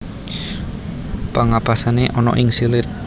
Pengapesané ana ing silit